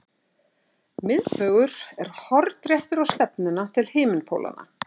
Miðbaugur er hornréttur á stefnuna til himinpólanna.